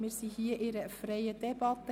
Wir führen hier eine freie Debatte.